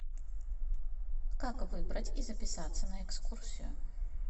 как выбрать и записаться на экскурсию